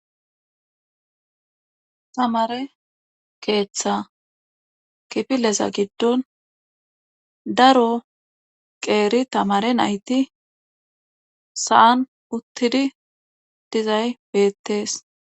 Tamare keeththa kifileza gidon daro qeeri tamare nayti sa'an utizi dizay beetees.